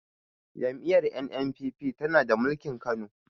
Jam'iyyar N.N.p.p tana mulkin kano